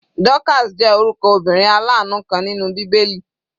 Dorcas jẹ́ orúkọ obìnrin alanu kan nínú bíbélì.